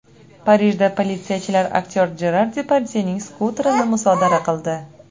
Parijda politsiyachilar aktyor Jerar Depardyening skuterini musodara qildi.